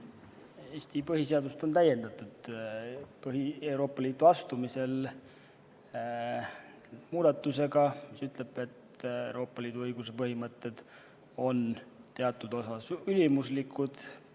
Eesti põhiseadust on Euroopa Liitu astumisel täiendatud muudatusega, mis ütleb, et Euroopa Liidu õiguse põhimõtted on teatud osas ülimuslikud.